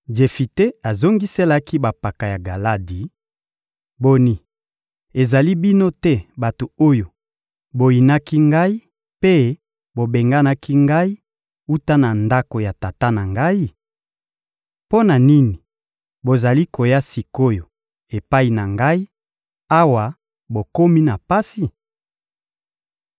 Jefite azongiselaki bampaka ya Galadi: — Boni, ezali bino te bato oyo boyinaki ngai mpe bobenganaki ngai wuta na ndako ya tata na ngai? Mpo na nini bozali koya sik’oyo epai na ngai, awa bokomi na pasi?